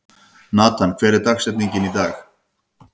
Natan, hver er dagsetningin í dag?